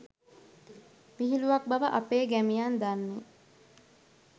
විහිළුවක් බව අපේ ගැමියන් දන්නේ